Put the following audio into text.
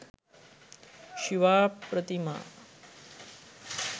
shiva prathima